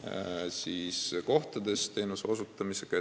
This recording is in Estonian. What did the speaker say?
kohtades arstiabi osutamisega.